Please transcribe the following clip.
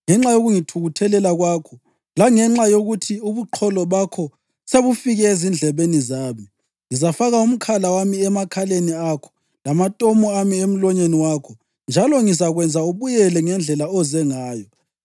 Ngenxa yokungithukuthelela kwakho langenxa yokuthi ubuqholo bakho sebufikile ezindlebeni zami ngizafaka umkhala wami emakhaleni akho lamatomu ami emlonyeni wakho, njalo ngizakwenza ubuyele ngendlela oze ngayo.’